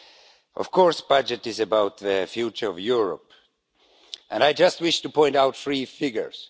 Of course, the budget is about the future of Europe and I just wish to point out three figures.